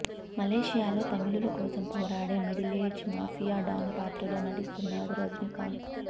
మలేసియాలో తమిళుల కోసం పోరాడే మిడిలేజ్డ్ మాఫియా డాన్ పాత్రలో నటిస్తున్నాడు రజినీకాంత్